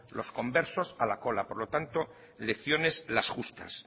los conversos a la cola por lo tanto lecciones las justas